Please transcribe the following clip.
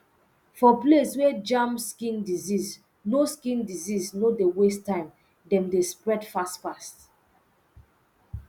for place wer jam skin disease no skin disease no dey waste time dem dey spread fast fast